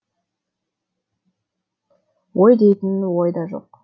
ой дейтін ой да жоқ